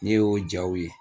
Ne y'o jaw ye